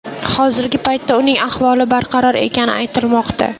Hozirgi paytda uning ahvoli barqaror ekani aytilmoqda.